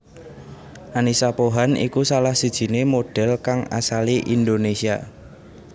Annisa Pohan iku salah sijiné modhél kang asalé Indonésia